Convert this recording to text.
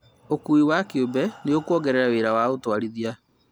Ũkui wa kĩũmbe nĩ ũkuongerera wĩra wa ũtwarithia